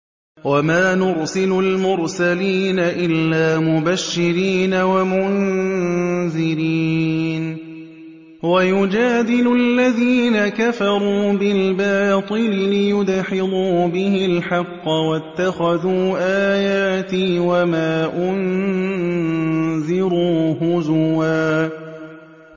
وَمَا نُرْسِلُ الْمُرْسَلِينَ إِلَّا مُبَشِّرِينَ وَمُنذِرِينَ ۚ وَيُجَادِلُ الَّذِينَ كَفَرُوا بِالْبَاطِلِ لِيُدْحِضُوا بِهِ الْحَقَّ ۖ وَاتَّخَذُوا آيَاتِي وَمَا أُنذِرُوا هُزُوًا